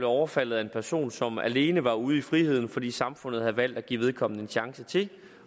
overfaldet af en person som alene var ude i friheden fordi samfundet havde valgt at give vedkommende en chance til